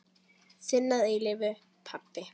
Þinn að eilífu, pabbi.